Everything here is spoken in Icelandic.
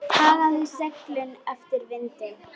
Hagaði seglum eftir vindi.